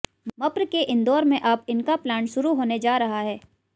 मप्र के इंदौर में अब इनका प्लांट शुरू होने जा रहा है